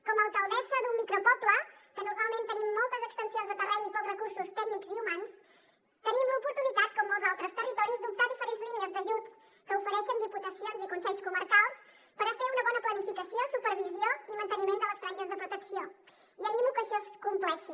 com a alcaldessa d’un micropoble que normalment tenim moltes extensions de terreny i pocs recursos tècnics i humans tenim l’oportunitat com molts altres territoris d’optar a diferents línies d’ajuts que ofereixen diputacions i consells comarcals per a fer una bona planificació supervisió i manteniment de les franges de protecció i animo que això es compleixi